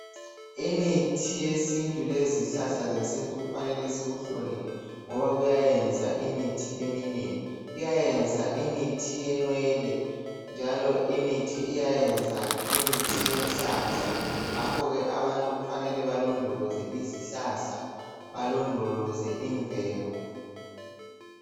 imithi yesintu lezihlahla zesintu kufanele sikuhloniphe ngoba kuyayenza imithi eminengi kuyayenza imithi yenwele njalo imithi iyayenza imithi yenhlanhla ngakho ke abantu kufanele balondoloze izihlahla balondoloze imvelo